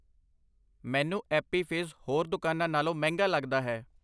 ਮੈਨੂੰ Appy Fizz ਹੋਰ ਦੁਕਾਨਾਂ ਨਾਲੋਂ ਮਹਿੰਗਾ ਲੱਗਦਾ ਹੈ